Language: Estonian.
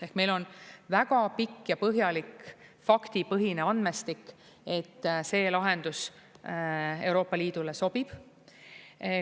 Ehk meil on väga pikk ja põhjalik faktipõhine andmestik, et see lahendus Euroopa Liidule sobib.